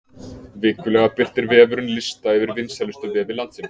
Vikulega birtir vefurinn lista yfir vinsælustu vefi landsins.